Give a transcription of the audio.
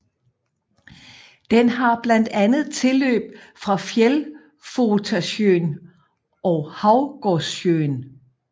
Den har blandt andet tilløb fra Fjällfotasjön og Havgårdssjön